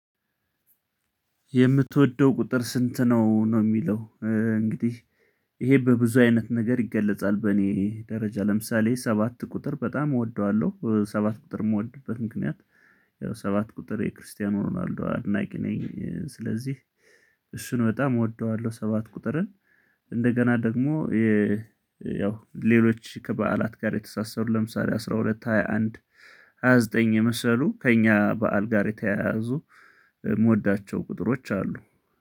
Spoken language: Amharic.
የምትወደው ቁጥር ስንት ነው? ነው የሚለው እንግዲህ ይሄ በብዙ አይነት ነገር ይገለጻል በእኔ ደረጃ ለምሳሌ ሰባት ቁጥር በጣም እወደዋለሁ ሰባት ቁጥር የምወድበት ምክንያት ያው ሰባት ቁጥር የክርስቲያኖ ሮናልዶ አድናቂ ነኝ ስለዚህ እሱን በጣም እወደዋለሁ ሰባት ቁጥርን እንደገና ደግሞ የ ያው ሌሎች ከበዓላት ጋር የተሳሰሩ ለምሳሌ አስራ ሁለት ሃያ አንድ ሃያ ዘጠኝ የመሰሉ ከእኛ በዓል ጋር የተያያዙ የምወዳቸው ቁጥሮች አሉ